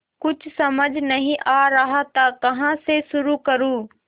कुछ समझ नहीं आ रहा था कहाँ से शुरू करूँ